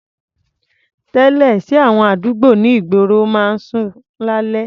Tẹ́lẹ̀, ṣé àwọn àdúgbò ní ìgboro máa ń ṣú lálẹ́?